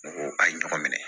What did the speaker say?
N ko a ye ɲɔgɔn minɛ